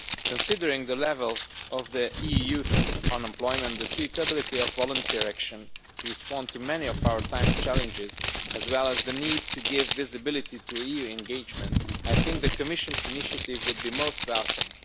Considering the level of EU youth unemployment, the suitability of volunteer action to respond to many of our time's challenges, as well as the need to give visibility to EU engagement, I think the Commission's initiative would be most welcome.